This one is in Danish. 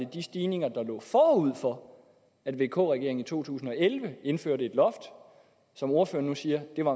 de stigninger der lå forud for at vk regeringen i to tusind og elleve indførte et loft og som ordføreren nu siger var